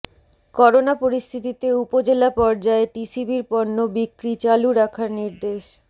corona পরিস্থিতিতে উপজেলা পর্যায়ে টিসিবির পণ্য বিক্রি চালু রাখার নির্দেশ